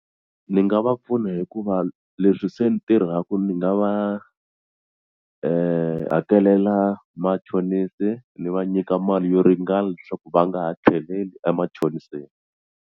Ni nga va pfuna hikuva leswi se ni tirhaka ni nga va hakelela machonisi ni va nyika mali yo ringana leswaku va nga ha tlheleli emachoniseni.